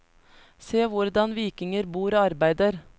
Se hvordan vikinger bor og arbeider.